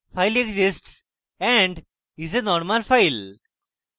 file exists and is a normal file